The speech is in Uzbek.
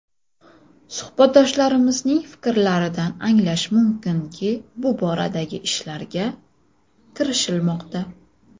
Suhbatdoshlarimizning fikrlaridan anglash mumkinki, bu boradagi ishlarga kirishilmoqda.